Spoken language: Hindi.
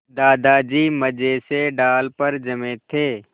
दादाजी मज़े से डाल पर जमे थे